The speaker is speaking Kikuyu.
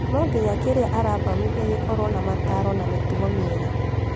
No nginya kĩrĩa arathomithia gĩkorwo na mataaro na mĩtugo miega